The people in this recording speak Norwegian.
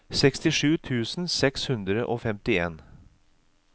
sekstisju tusen seks hundre og femtien